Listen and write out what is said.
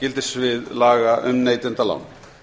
gildissvið laga um neytendalán